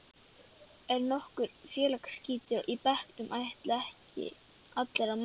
Er nokkur félagsskítur í bekknum ætla ekki allir að mæta?